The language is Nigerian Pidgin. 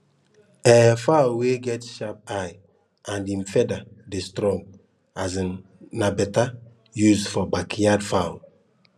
um fowl wey get sharp eye and em feather dey strong um nai better use for backyard fowl